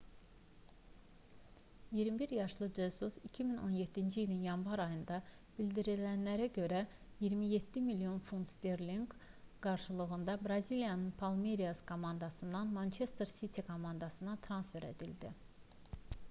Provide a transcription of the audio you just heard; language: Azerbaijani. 21 yaşlı jesus 2017-ci ilin yanvar ayında bildirilənlərə görə 27 milyon funt sterlinq qarşılığında braziliyanın palmeiras komandasından manchester city komandasına transfer edildi